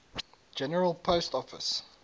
general post office